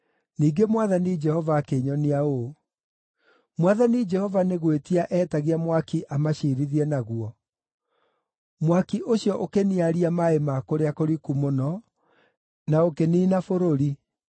Ningĩ Mwathani Jehova akĩnyonia ũũ: Mwathani Jehova nĩ gwĩtia eetagia mwaki amaciirithie naguo; mwaki ũcio ũkĩniaria maaĩ ma kũrĩa kũriku mũno, na ũkĩniina bũrũri.